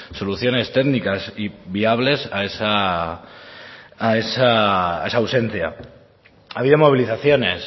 soluciones técnicas y viables a esa ausencia ha habido movilizaciones